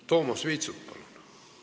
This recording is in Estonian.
Toomas Vitsut, palun!